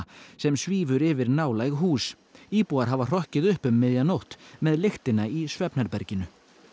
sem svífur yfir nálæg hús íbúar hafa hrokkið upp um miðja nótt með lyktina í svefnherberginu